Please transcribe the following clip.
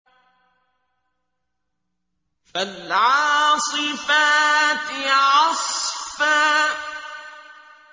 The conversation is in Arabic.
فَالْعَاصِفَاتِ عَصْفًا